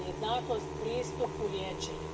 Dakle, jednakost pristupu liječenju.